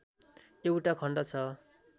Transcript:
एउटा खण्ड छ